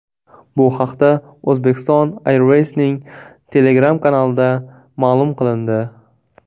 Bu haqda Uzbekistan Airways’ning Telegram kanalida ma’lum qilindi .